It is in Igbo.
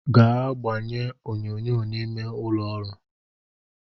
Gaa gbanye onyonyo n’ime n’ụlọọrụ!